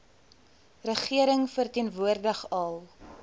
regering verteenwoordig al